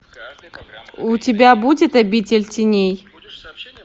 у тебя будет обитель теней